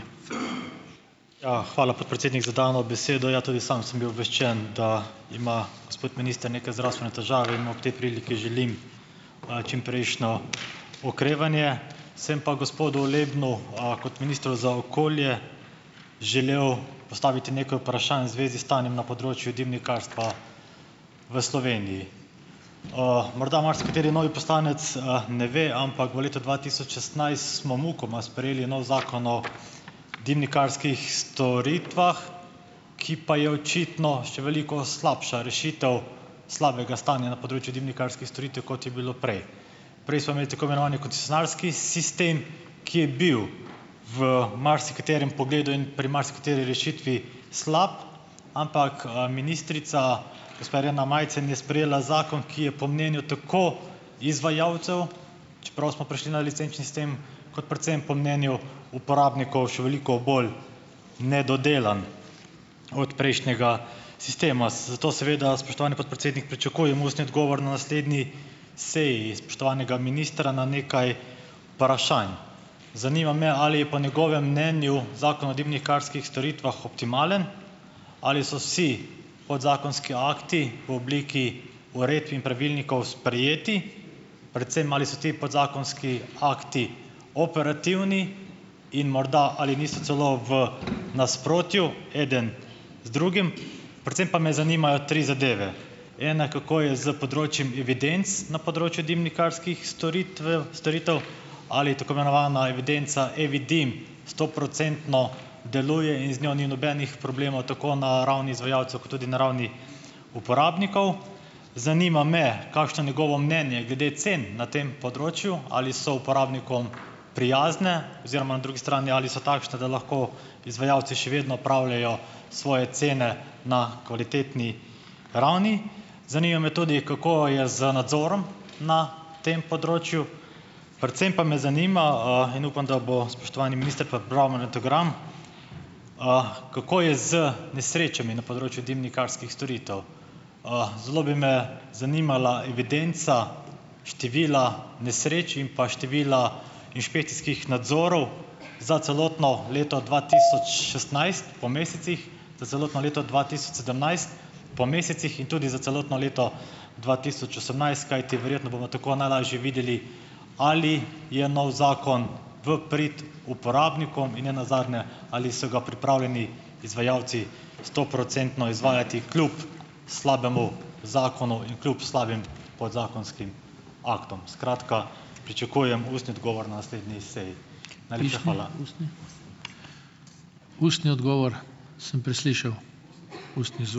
Ja, hvala, podpredsednik, za dano besedo. Ja, tudi sam sem bil obveščen, da ima gospod minister neke zdravstvene težave in mu ob tej priliki želim, čimprejšnje okrevanje. Sem pa gospodu Lebnu, kot ministru za okolje, želel postaviti nekaj vprašanj v zvezi s stanjem na področju dimnikarstva v Sloveniji. Morda marsikateri novi poslanec, ne ve, ampak v letu dva tisoč šestnajst smo mukoma sprejeli novi Zakon o dimnikarskih storitvah, ki pa je očitno še veliko slabša rešitev slabega stanja na področju dimnikarskih storitev, kot je bilo prej. Prej smo imeli tako imenovani koncesionarski sistem, ki je bil v marsikaterem pogledu in pri marsikateri rešitvi slab, ampak, ministrica, gospa Irena Majcen, je sprejela zakon, ki je po mnenju tako izvajalcev, čeprav smo prišli na licenčni sistem, kot predvsem po mnenju uporabnikov še veliko bolj nedodelan od prejšnjega sistema. Zato seveda, spoštovani podpredsednik, pričakujem ustni odgovor na naslednji seji spoštovanega ministra na nekaj vprašanj. Zanima me, ali je po njegovem mnenju Zakon o dimnikarskih storitvah optimalen? Ali so si podzakonski akti po obliki uredb in pravilnikov sprejeti, predvsem, ali so ti podzakonski akti operativni in morda, ali niso celo v nasprotju eden z drugim? Predvsem pa me zanimajo tri zadeve - ena, kako je z področjem evidenc na področju dimnikarskih storitvev storitev, ali tako imenovana evidenca E-vidim stoprocentno deluje in z njo ni nobenih problemov, tako na ravni izvajalcev kot tudi na ravni uporabnikov? Zanima me, kakšno je njegovo mnenje glede cen na tem področju, ali so uporabnikom prijazne oziroma na drugi strani, ali so takšne, da lahko izvajalci še vedno pravlejo svoje cene na kvalitetni ravni. Zanima me tudi, kako je z nadzorom na tem področju. Predvsem pa me zanima, in upam, da bo spoštovani minister pripravil magnetogram, kako je z nesrečami na področju dimnikarskih storitev. Zelo bi me zanimala evidenca števila nesreč in pa števila inšpekcijskih nadzorov za celotno leto dva tisoč šestnajst po mesecih, za celotno leto dva tisoč sedemnajst po mesecih in tudi za celotno leto dva tisoč osemnajst, kajti verjetno bomo tako najlažje videli, ali je novi zakon v prid uporabnikom in ne nazadnje ali so ga pripravljeni izvajalci stoprocentno izvajati kljub slabemu zakonu in kljub slabim podzakonskim aktom. Skratka, pričakujem ustni odgovor na naslednji seji.